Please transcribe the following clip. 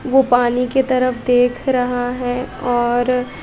वो पानी की तरफ देख रहा है और--